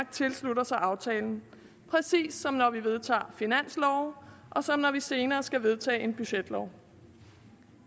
tilslutter sig aftalen præcis som når vi vedtager finanslove og som når vi senere skal vedtage en budgetlov